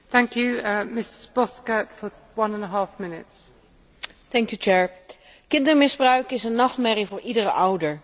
Kindermisbruik is een nachtmerrie voor iedere ouder en een onbeschrijflijk traumatische ervaring voor het kind en ook voor de hele maatschappij.